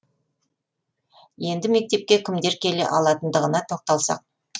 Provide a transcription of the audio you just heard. енді мектепке кімдер келе алатындығына тоқталсақ